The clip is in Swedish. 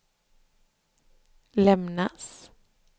lämnas